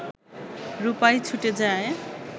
রূপাই ছুটে যায়